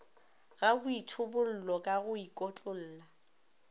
ga boithobollo ka go ikotlolla